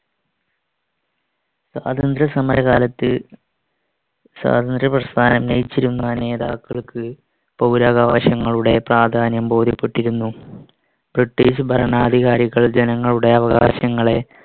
സ്വാതന്ത്ര്യസമരക്കാലത്ത് സ്വാതന്ത്ര്യപ്രസ്ഥാനം നയിച്ചിരുന്ന നേതാക്കൾക്ക് പൗരാകവകാശങ്ങളുടെ പ്രാധാന്യം ബോധ്യപ്പെട്ടിരുന്നു. british ഭരണാധികാരികൾ ജനങ്ങളുടെ അവകാശങ്ങളെ